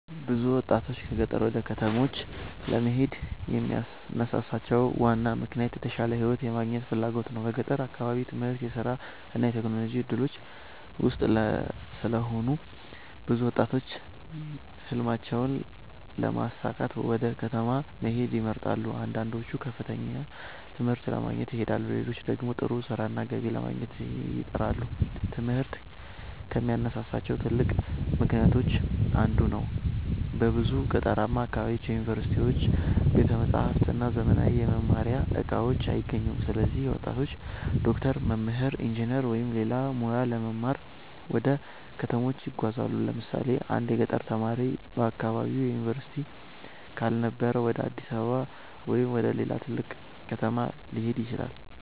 ብዙ ወጣቶች ከገጠር ወደ ከተሞች ለመሄድ የሚያነሳሳቸው ዋና ምክንያት የተሻለ ሕይወት የማግኘት ፍላጎት ነው። በገጠር አካባቢ የትምህርት፣ የሥራ እና የቴክኖሎጂ እድሎች ውስን ስለሆኑ ብዙ ወጣቶች ሕልማቸውን ለማሳካት ወደ ከተማ መሄድን ይመርጣሉ። አንዳንዶቹ ከፍተኛ ትምህርት ለመማር ይሄዳሉ፣ ሌሎች ደግሞ ጥሩ ሥራና ገቢ ለማግኘት ይጥራሉ። ትምህርት ከሚያነሳሳቸው ትልቅ ምክንያቶች አንዱ ነው። በብዙ ገጠራማ አካባቢዎች ዩኒቨርሲቲዎች፣ ቤተ መጻሕፍት እና ዘመናዊ የመማሪያ እቃዎች አይገኙም። ስለዚህ ወጣቶች ዶክተር፣ መምህር፣ ኢንጂነር ወይም ሌላ ሙያ ለመማር ወደ ከተሞች ይጓዛሉ። ለምሳሌ አንድ የገጠር ተማሪ በአካባቢው ዩኒቨርሲቲ ካልነበረ ወደ አዲስ አበባ ወይም ወደ ሌላ ትልቅ ከተማ ሊሄድ ይችላል።